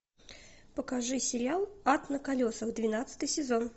покажи сериал ад на колесах двенадцатый сезон